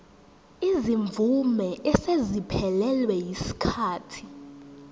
izimvume eseziphelelwe yisikhathi